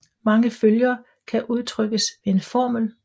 Mange følger kan udtrykkes ved en formel